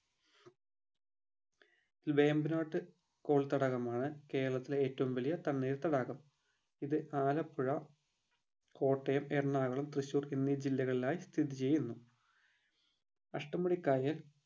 വേമ്പനാട്ട് കൊൽത്തടാകമാണ് കേരളത്തിലെ ഏറ്റവും വലിയ തണ്ണീർത്തടാകം ഇത് ആലപ്പുഴ കോട്ടയം എറണാകുളം തൃശ്ശൂർ എന്നീ ജില്ലകളിലായി സ്ഥിചെയ്യുന്നു അഷ്ടമുടി കായൽ